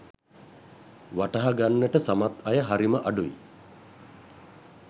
වටහා ගන්නට සමත් අය හරිම අඩුයි.